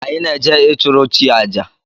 Anyị na-eje ịchụrụ chi àjà